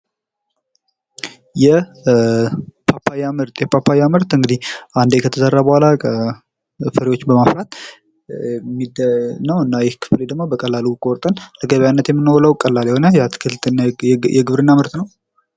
የፓፓያ ምርት የፓፓያ ምርት እንግዲህ አንደ ከተዘራ በኋላ ፍሬዎች በማፍራት ነው እና ደግሞ ቆርጠን ለገበያነት የምናውለው ቀላል የሆነ የአትክልት የግብርና ምርት ነው።